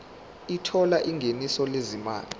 othola ingeniso lezimali